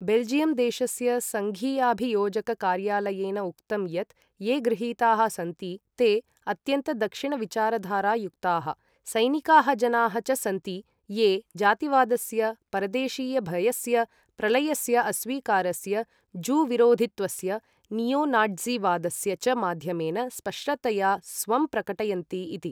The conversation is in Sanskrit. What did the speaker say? बेल्जियम् देशस्य सङ्घीयाभियोजककार्यालयेन उक्तं यत् ये गृहीताः सन्ति ते अत्यन्तदक्षिणविचारधारायुक्ताः सैनिकाः जनाः च सन्ति ये जातिवादस्य, परदेशीयभयस्य, प्रलयस्य अस्वीकारस्य, जू विरोधित्वस्य, नीयो नाट्ज़ीवादस्य च माध्यमेन स्पष्टतया स्वं प्रकटयन्ति इति।